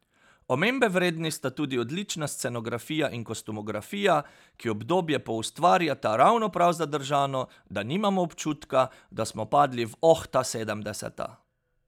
Omembe vredni sta tudi odlična scenografija in kostumografija, ki obdobje poustvarjata ravno prav zadržano, da nimamo občutka, da smo padli v Oh, ta sedemdeseta.